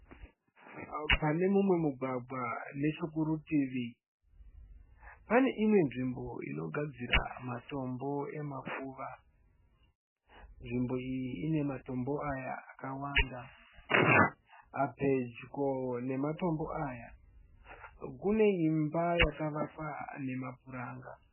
Pane mumwe mugwagwa nechokurutivi. Pàne imwe nzvimbo inogadzira matombo emakuva. Nzvimbo iyi ine matombo aya akawanda. Pedyo nematombo aya kune imba yakavakwa nemapuranga.